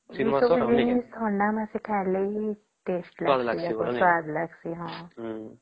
ଥଣ୍ଡା ମାସରେ ଖାଈବାକେ taste ଲାଗିଁସେ